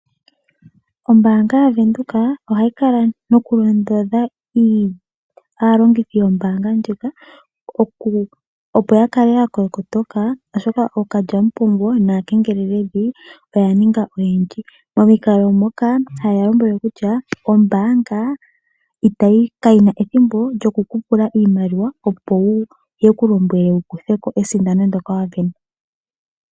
Ombaanga ya venduka oha yi kala no ku londodha aongithi yombaanga ndjoka, opo ya kale ya kotoka, oshoka ookalyamupombo naakengeleledhi, oya ninga oyendji. Momikalo moka ha ye ya lombwele kutya, ombaanga ka yi ma ethimbo lyo ku kupula iimaliwa opo wu kutheko esindano ndjoka wa pewa.